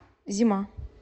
зима